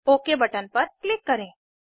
okay button पर click करें